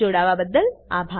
જોડાવા બદલ આભાર